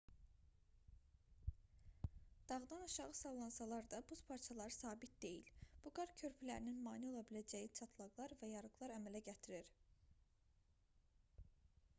dağdan aşağı sallansalar da buz parçaları sabit deyil bu qar körpülərinin mane ola biləcəyi çatlaqlar və yarıqlar əmələ gətirir